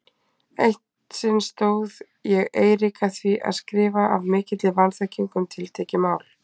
Eitt sinn stóð ég Eirík að því að skrifa af mikilli vanþekkingu um tiltekið mál.